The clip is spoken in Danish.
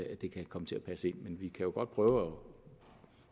det kan komme til at passe ind men vi kan jo godt prøve